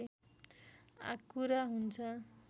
आँकुरा हुन्छ